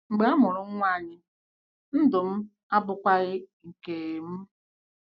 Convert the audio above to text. Mary: “ Mgbe a mụrụ nwa anyị, ndụ m abụkwaghị nke m. m.